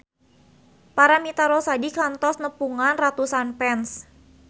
Paramitha Rusady kantos nepungan ratusan fans